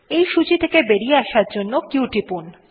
এই সূচী থেকে বেরিয়ে আসার জন্য q টিপুন